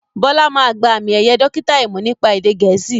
Bọlá máa gba àmì ẹ̀yẹ dókítà imọ̀ nípa èdè gẹ̀ẹ́sì